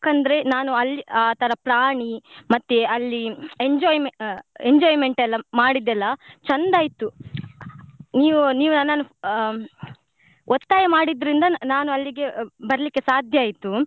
ಯಾಕಂದ್ರೆ ನಾನು ಅಲ್ಲಿ ಆ ತರಾ ಪ್ರಾಣಿ ಮತ್ತೆ ಅಲ್ಲಿ enjoyme~ ಆ enjoyment ಎಲ್ಲ ಮಾಡಿದ್ದೆಲ್ಲ ಚಂದ ಆಯ್ತು ನೀವ್ ನೀವು ನನ್ನನ್ನು ಹ್ಮ್‌ ಒತ್ತಾಯ ಮಾಡಿದ್ರಿಂದ ನಾನು ಅಲ್ಲಿಗೆ ಬರ್ಲಿಕ್ಕೆ ಸಾಧ್ಯ ಆಯ್ತು.